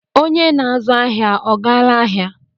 Onye na-azụ ahịa ọ gaala ahịa?